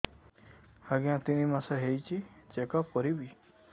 ଆଜ୍ଞା ତିନି ମାସ ହେଇଛି ଚେକ ଅପ କରିବି